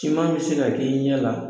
Timan bɛ se ka k'i ɲɛ la